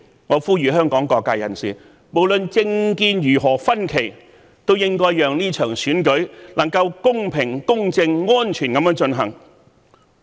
我呼籲香港各界人士，無論政見如何分歧，均應讓這場選舉公平、公正、安全地進行。